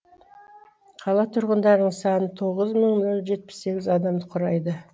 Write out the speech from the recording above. қала тұрғындарының саны тоғыз мың нол жетпіс сегіз адамды құрайды